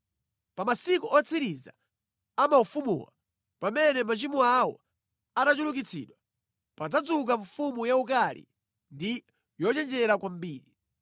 “Pa masiku otsiriza a maufumuwa, machimo awo atachulukitsa, padzadzuka mfumu yaukali ndi yochenjera kwambiri.